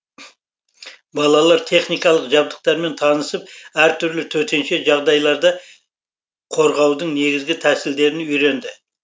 балалар техникалық жабдықтармен танысып әртүрлі төтенше жағдайларда қорғаудың негізгі тәсілдерін үйренді